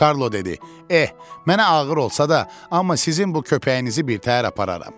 Karlo dedi: Eh, mənə ağır olsa da, amma sizin bu köpəyinizizi birtəhər apararam.